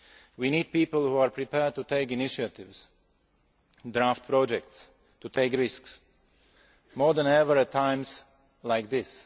We need people who are prepared to take initiatives, draft projects and take risks more than ever at times like this.